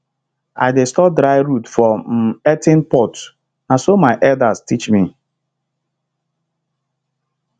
i dey store dry root for um earthen pot na so my elders teach me